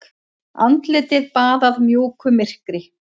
Andlitið baðað mjúku myrkri.